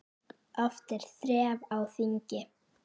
Oft er þref á þingi.